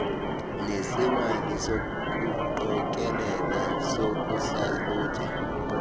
nesemali sokuqokelela sokuhlalutya